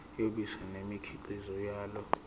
yobisi nemikhiqizo yalo